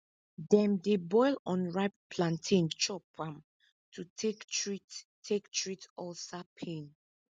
dem dey boil unripe plantain chop am to take treat take treat ulcer pain